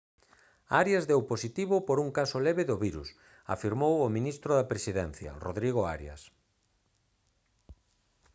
arias deu positivo por un caso leve do virus afirmou o ministro da presidencia rodrigo arias